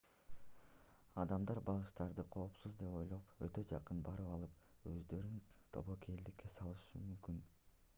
адамдар багыштарды коопсуз деп ойлоп өтө жакын барып алып өздөрүн тобокелдикке салышы мүмкүн